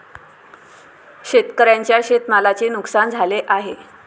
शेतकऱ्यांच्या शेतमालाचे नुकसान झाले आहे.